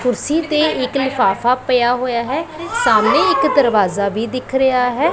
ਕੁਰਸੀ ਤੇ ਇੱਕ ਲਿਫਾਫਾ ਪਿਆ ਹੋਇਆ ਹੈ ਸਾਹਮਣੇ ਇੱਕ ਦਰਵਾਜ਼ਾ ਵੀ ਦਿਖ ਰਿਹਾ ਹੈ।